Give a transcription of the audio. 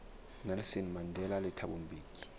nelson mandela le thabo mbeki